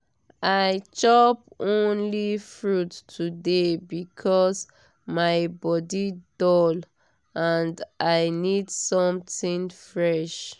i chop only fruit today because my body dull and i need something fresh.